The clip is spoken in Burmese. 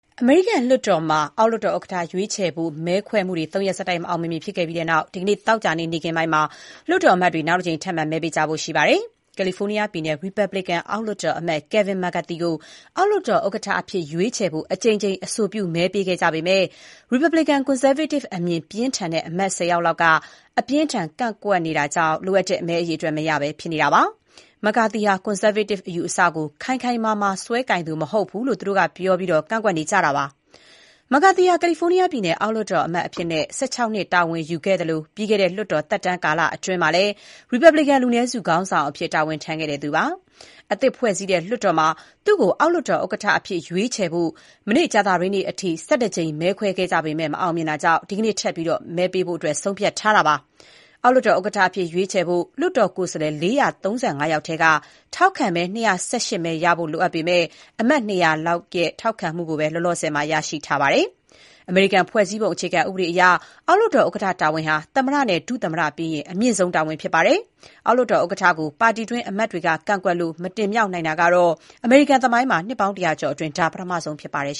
အမေရိကန်လွှတ်တော်မှာ အောက်လွှတ်တော် ဥက္ကဋ္ဌရွေးချယ်ဖို့မဲခွဲမှုတွေ သုံးရက်ဆက်တိုက် မအောင်မမြင်ဖြစ်ခဲ့ပြီးတဲ့နောက် ဒီနေ့ သောကြာနေ့ နေ့ခင်းမှာ လွှတ်တော်အမတ်တွေ နောက်တကြိမ် ထပ်မံ မဲပေးကြဖို့ ရှိနေပါတယ်။ ကယ်လီဖိုးနီးယားပြည်နယ် ရီပတ်ဘလစ်ကန် အောက်လွှတ်တော်အမတ် Kevin McCarthy ကို အောက်လွှတ်တော် ဥက္ကဋ္ဌအဖြစ်ရွေးချယ်ဖို့ အကြိမ်ကြိမ် အဆိုပြုမဲပေးခဲ့ကြပေမဲ့ ရီပတ်ဘလစ်ကန် ကွန်ဆာဗေးတစ်အမြင်ပြင်းထန်တဲ့ အမတ် ၂၀ လောက်က အပြင်းအထန် ဆက်ကန့်ကွက်နေတာကြောင့် လိုအပ်တဲ့ မဲအရေအတွက် မရဘဲ ဖြစ်နေတာပါ။ McCarthy ဟာ ကွန်ဆာဗေးတစ် အယူအဆကို ခိုင်ခိုင်မာမာ စွဲကိုင်သူမဟုတ်ဘူးလို့ သူတို့ကပြောပြီး ကန့်ကွက်နေကြတာပါ။ McCarthy ဟာ ကယ်လီဖိုးနီးယားပြည်နယ် အောက်လွှတ်တော် အမတ်အဖြစ် ၁၆ နှစ် တာဝန်ယူခဲ့သလို ပြီးခဲ့တဲ့ လွှတ်တော်သက်တမ်းကာလအတွင်း ရီပတ်ဘလစ်ကန် လူနည်းစုခေါင်းဆောင်အဖြစ် တာဝန်ယူခဲ့တဲ့သူပါ။ အသစ်ဖွဲ့စည်းတဲ့လွှတ်တော်မှာ သူ့ကို အောက်လွှတ်တော်ဥက္ကဋ္ဌအဖြစ် ရွေးချယ်ဖို့ ကြာသပတေးနေ့အထိ ၁၁ ကြိမ် မဲခွဲခဲ့ပေမဲ့ မအောင်မြင်သေးတာကြောင့် ဒီကနေ့ ထပ်ပြီး မဲပေးဖို့ ဆုံးဖြတ်လိုက်တာပါ။ အောက်လွှတ်တော်ဥက္ကဋ္ဌအဖြစ် ရွေးချယ်ဖို့ လွှတ်တော် ကိုယ်စားလှယ် ၄၃၅ ယောက်ထဲက ထောက်ခံမဲ ၂၁၈ မဲ ရရှိဖို့ လိုအပ်ပေမဲ့ အမတ် ၂၀၀ လောက်ရဲ့ ထောက်ခံမှုကိုပဲ လောလောဆယ် ရရှိထားပါတယ်။ အမေရိကန် ဖွဲ့စည်းပုံအခြေခံဥပဒေအရ အောက်လွှတ်တော်ဥက္ကဋ္ဌတာဝန်ဟာ သမ္မတနဲ့ဒုသမ္မတပြီးရင် အမြင့်ဆုံးတာဝန် ဖြစ်ပါတယ်။ အောက်လွှတ်တော်ဥက္ကဋ္ဌကို ပါတီတွင်းအမတ်တွေ ကန့်ကွက်လို့ မတင်မြှောက်နိုင်တာ အမေရိကန်သမိုင်းမှာ နှစ်ပေါင်း ၁၀၀ ကျော်အတွင်း ပထမဆုံး ဖြစ်ပါတယ်